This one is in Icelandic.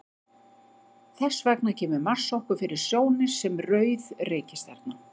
Þess vegna kemur Mars okkur fyrir sjónir sem rauð reikistjarna.